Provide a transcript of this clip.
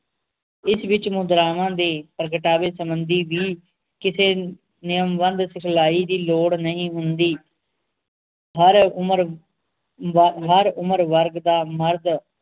ਇਸ ਵਿਚ ਮੁਦਰਾਵਾਂ ਦੇ ਪ੍ਰਗਟਾਵੇ ਸੰਬੰਧੀ ਵੀ ਕਿਸੇ ਨ ਨਿਯਮਬੰਧ ਸਿਖਲਾਈ ਦੀ ਲੋੜ ਨਹੀ ਹੁੰਦੀ ਹਰ ਉਮਰ ਵਰ ਹਰ ਉਮਰ ਵਰਗ ਦਾ ਮਰਦ